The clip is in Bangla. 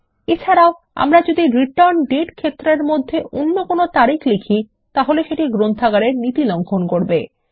এছাড়াও আমরা যদি রিটার্ন্ডেট ক্ষেত্রের মধ্যে অন্য কোনো তারিখ লিখি তাহলে সেটি গ্রন্থাগারের নীতি লঙ্ঘন করবে